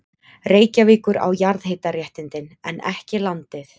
Reykjavíkur á jarðhitaréttindin, en ekki landið.